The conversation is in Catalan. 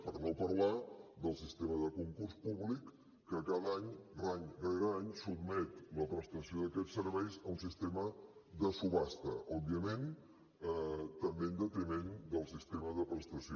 per no parlar del sistema de concurs públic que cada any any rere any sotmet la prestació d’aquests serveis a un sistema de subhasta òbviament també en detriment del sistema de prestació